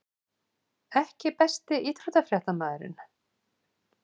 EKKI besti íþróttafréttamaðurinn?